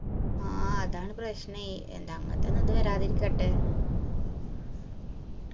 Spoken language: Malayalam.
ആ അതാണ് പ്രശ്നെ അങ്ങൻത്തൊന്നു ഇത് വരാതിരിക്കട്ടെ